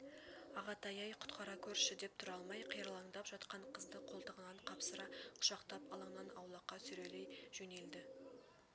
ағатай-ай құтқара гөрші деп тұра алмай қиралаңдап жатқан қызды қолтығынан қапсыра құшақтап алаңнан аулаққа сүйрелей жөнелді